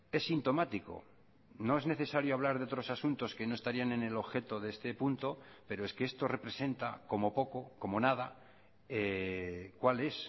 es sintomático no es necesario hablar de otros asuntos que no estarían en el objeto de este punto pero es que esto representa como poco como nada cuál es